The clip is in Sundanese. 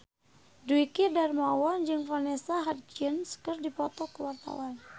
Dwiki Darmawan jeung Vanessa Hudgens keur dipoto ku wartawan